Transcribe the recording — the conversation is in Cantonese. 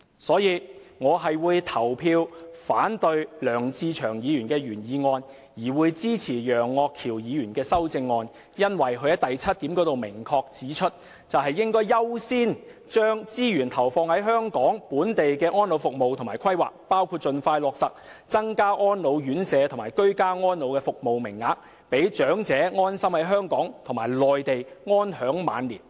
所以，我會表決反對梁志祥議員的原議案，而支持楊岳橋議員的修正案，因為他在修正案第七項中明確指出，"應考慮先將資源投放於本港的安老服務及規劃，包括盡快落實增加安老院舍及居家安老的服務名額，讓長者安心在本港或內地安享晚年"。